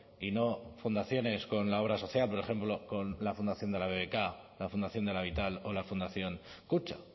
y no fundaciones con la obra social por ejemplo con la fundación de la bbk la fundación de la vital o la fundación kutxa